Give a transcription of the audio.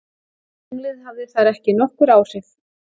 Tunglið hafði þar ekki nokkur áhrif.